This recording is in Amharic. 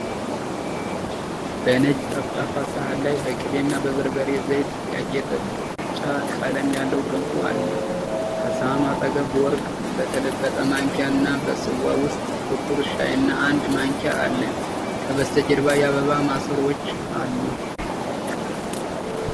በነጭ ጠፍጣፋ ሳህን ላይ በቅቤና በበርበሬ ዘይት ያጌጠ ብጫ ቀለም ያለው ገንፎ አለ። ከሳህኑ አጠገብ በወርቅ በተለበጠ ማንኪያ እና በጽዋ ውስጥ ጥቁር ሻይና አንድ ማንኪያ አለ። ከበስተጀርባ የአበባ ማሰሮዎች አሉ።